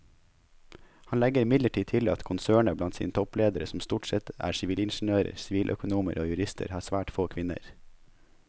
Han legger imidlertid til at konsernet blant sine toppledere som stort sette er sivilingeniører, siviløkonomer og jurister har svært få kvinner.